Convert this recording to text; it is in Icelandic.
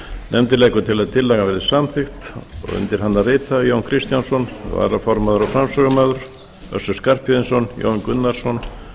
nefndin leggur til að tillagan verði samþykkt undir nefndarálitið rita jón kristjánsson varaformaður og framsögumaður össur skarphéðinsson jón gunnarsson